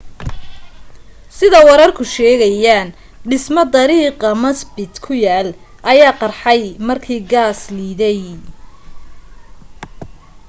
sida wararku sheegayaan dhisme dariiqa macbeth ku yaal ayaa qarxay markii gaas liidey